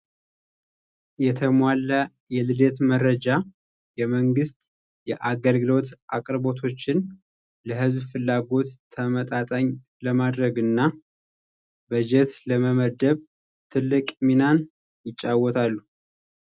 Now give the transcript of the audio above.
የተሟላ የልደት መረጃ የመንግሥት የአገልግሎዎት አቅርቦቶችን ለህዝብ ፍላጎት ተመጣጣኝ ለማድረግ እና በጀት ለመመደብ ትልቅ ሚናን ይጫወታሉ።